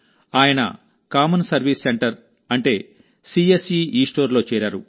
ఆయన common service centre అంటే CSC Eస్టోర్లో చేరారు